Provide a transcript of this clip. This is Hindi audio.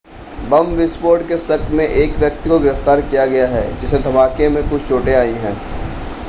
बम विस्फोट के शक में एक व्यक्ति को गिरफ्तार किया गया है जिसे धमाके में कुछ चोटें आई हैं